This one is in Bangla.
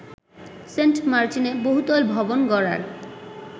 সেন্টমার্টিনে বহুতল ভবন গড়ার